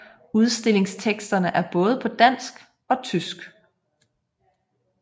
Udstillingsteksterne er både på dansk og tysk